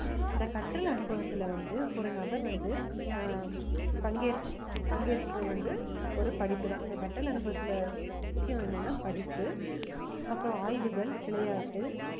இந்த கற்றல் அனுபவத்துல வந்து ஒரு நபர் வந்து ஆஹ் பங்கேற்~ பங்கேற்பு வந்து ஒரு படிப்புதான் இந்த கற்றல் அனுபவத்துல முக்கியம் என்னன்னா படிப்பு அப்புறம் ஆய்வுகள், விளையாட்டு